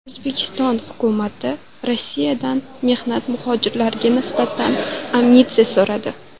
O‘zbekiston hukumati Rossiyadan mehnat muhojirlariga nisbatan amnistiya so‘radi.